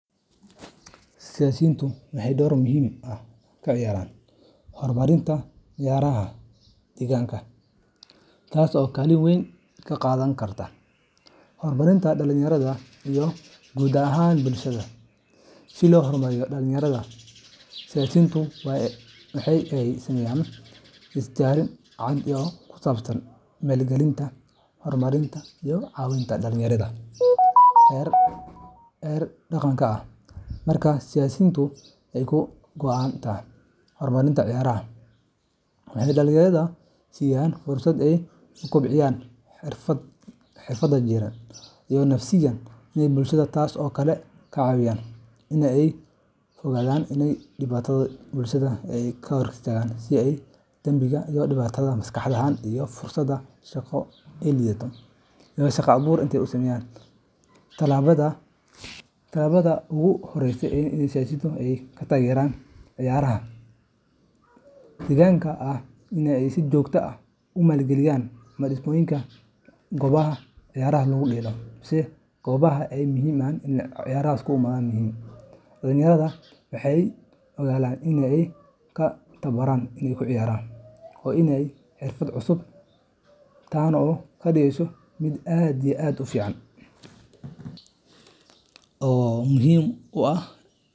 Siyasiyiintu waxay door muhiim ah ka ciyaaraan horumarinta ciyaaraha deegaanka, taas oo kaalin weyn ka qaadan karta horumarinta dhalinyarada iyo guud ahaan bulshada. Si loo hormariyo dhalinyarada, siyasiyiintu waa in ay sameeyaan istaraatiijiyad cad oo ku saabsan maalgelinta, horumarinta, iyo cawinta ciyaaraha heer deegaanka ah. Marka siyaasiyiintu ay ka go'an tahay horumarinta ciyaaraha, waxay dhalinyarada siinayaan fursad ay ku kobciyaan xirfadaha jireed, nafsiyadeed, iyo bulsho, taas oo ka caawineysa inay ka fogaadaan dhibaatooyinka bulsheed ee badan sida dambiyada, dhibaatada maskaxda, iyo fursadaha shaqo ee liita. Tallaabada ugu horeysa ee siyaasiyiintu ay ku taageeri karaan ciyaaraha deegaanka ayaa ah in ay si joogto ah ugu maalgashadaan dhismaha iyo dayactirka goobaha ciyaaraha. Goobahaas waxay muhiim u yihiin dhalinyarada, maxaa yeelay waxay u oggolaanayaan in ay ku tababaraan, ku ciyaaraan, iyo in ay helaan xirfado cusub, taan oo kadigeso mid aad iyo aad u fican oo muhim u ah.